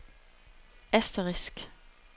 asterisk